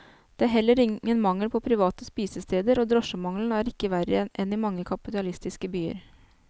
Det er heller ingen mangel på private spisesteder, og drosjemangelen er ikke verre enn i mange kapitalistiske byer.